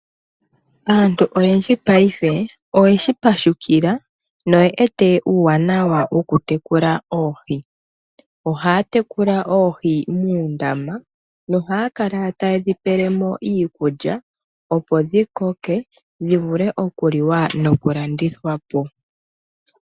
Aantu oyendji paife oyeshipashukila na oyewete uuwanawa wokutekula oohi, ohaya tekula oohi muundama na ohaya kala tayedhi pelemo iikulya opo dhikoke dhivule okuliwa nokulandithwa po.